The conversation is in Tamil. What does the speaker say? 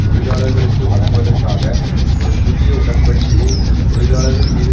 தொழிலாளர்களுக்கு வழங்குவதற்காக ஒரு புதிய உடன்படிக்கையை தொழிலாளர்கள் மீது